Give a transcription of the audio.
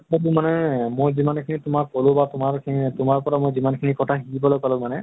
সেইটো মানে মই যিমান খিনি তোমাক কলো বা তোমাৰ খিনি তোমাৰ পৰা মই যিমান খিনি কথা শিকিবলে পালো মানে